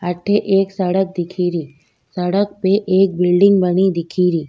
अठ एक सड़क दिखेरी सड़क पे एक बिल्डिंग बनी दिखेरी।